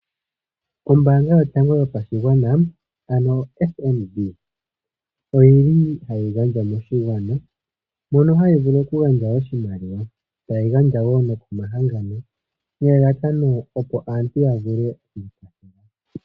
Ombaanga yotango yopashigwana ano FNB, oyi li ha yi gandja moshigwana mono hayi vulu oku gandja oshimaliwa, ta yi gandja nokomahangano nelalakano opo aantu ya vule oku tunga omagumbo.